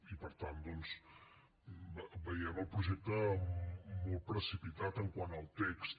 i per tant doncs veiem el projecte molt precipitat quant al text